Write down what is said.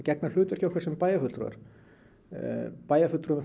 gegna hlutverki okkar sem bæjarfulltrúar bæjarfulltrúar